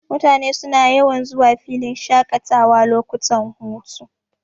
Mutane suna yawan zuwa filin shaƙatawa lokutan hutu.,